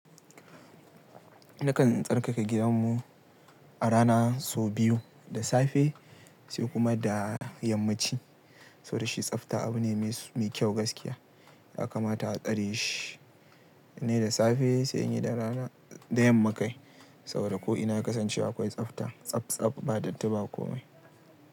Nakan tsarkake gidanmu, a rana sau biyu, da safe sai kuma da yammaci. Saboda shi tsafta abu ne mai kyau gaskiya. Ya kamata a tsare shi. Nayi da safe, sai inyi da rana da yamma kai. Saboda ko ina kasancewa akwai tsafta. Tsabtsab ba datti ba komai.